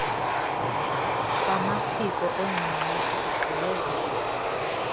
kwamaphiko engxangxosi igqibezela